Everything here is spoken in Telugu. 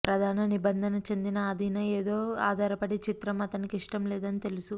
ప్రధాన నిబంధన చెందిన అధీన ఏదో ఆధారపడి చిత్రం అతనికి ఇష్టం లేదని తెలుసు